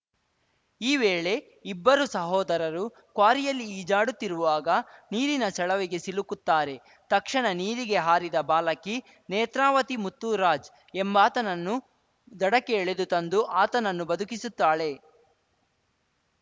ಈ ವೇಳೆ ಇಬ್ಬರು ಸಹೋದರರು ಕ್ವಾರಿಯಲ್ಲಿ ಈಜಾಡುತ್ತಿರುವಾಗ ನೀರಿನ ಸೆಳವಿಗೆ ಸಿಲುಕುತ್ತಾರೆ ತಕ್ಷಣ ನೀರಿಗೆ ಹಾರಿದ ಬಾಲಕಿ ನೇತ್ರಾವತಿ ಮುತ್ತುರಾಜ್‌ ಎಂಬಾತನನ್ನು ದಡಕ್ಕೆ ಎಳೆದು ತಂದು ಆತನನ್ನ ಬದುಕಿಸುತ್ತಾಳೆ